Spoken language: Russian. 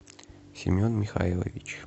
семен михайлович